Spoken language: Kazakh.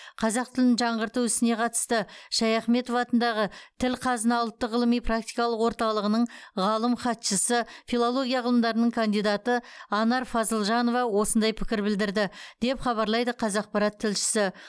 қазақ тілін жаңғырту ісіне қатысты ш шаяхметов атындағы тіл қазына ұлттық ғылыми практикалық орталығының ғалым хатшысы филология ғылымдарының кандидаты анар фазылжанова осындай пікір білдірді деп хабарлайды қазақпарат тілшісі